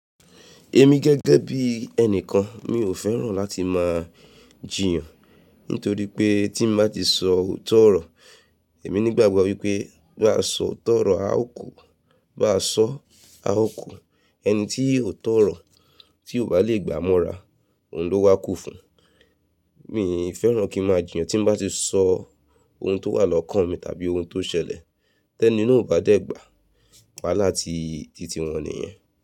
Èmi gẹ́gẹ́ bí ẹnìkan mi ò fẹ́ràn láti máa jiyàn. Nítorí pé tí mo bá ti sọ òótọ́ ọ̀rọ̀, èmi nígbàgbọ́ wípé biá sọ òótọ́ ọ̀rọ̀ a ó kú, bá sọ́ a ó kú, ẹni tí òótọ́ ọ̀rọ̀ tí kò bá lè gbà mọ́ra òun ló wá kú fun. Mí kò fẹ́ràn kí ń máa jiyàn tí mo bá ti sọ ohun tó wà lọ́kàn mi tàbí ohun tó ṣẹlẹ̀ tẹ́ní na ò bá dẹ̀ gbà, wáhala tìtì wọn nìyẹn.